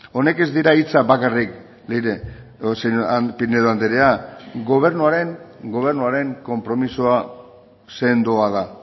hauek ez dira hitzak bakarrik pinedo anderea gobernuaren konpromisoa sendoa da